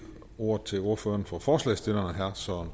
ordet til ordføreren for forslagsstillerne herre søren